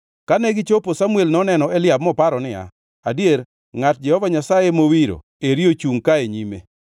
Kane gichopo, Samuel noneno Eliab moparo niya, “Adier ngʼat Jehova Nyasaye mowiro eri ochungʼ ka e nyime.”